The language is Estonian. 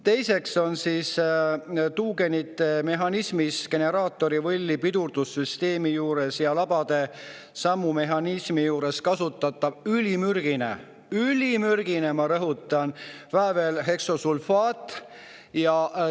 Teiseks on tuugenite mehhanismis generaatorivõlli pidurdussüsteemi juures ja labade sammu mehhanismi juures kasutatav ülimürgine – ülimürgine, ma rõhutan – väävelheksa.